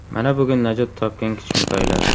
Mana bugun najot topgan kichkintoylar”.